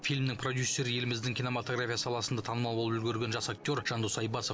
фильмнің продюсері еліміздің кинематография саласында танымал болып үлгерген жас актер жандос айбасов